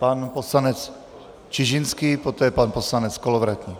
Pan poslanec Čižinský, poté pan poslanec Kolovratník.